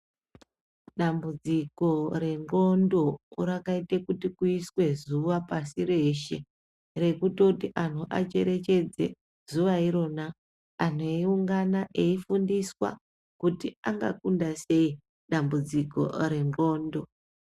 Dambudziko rendxondo rakaite kuti kuiswe zuwa pasi reshe, rekutoti anhu acherechedze zuwa irona, anhu eiungana , eifundiswa ,kuti angakunda sei, dambudziko rendxondo.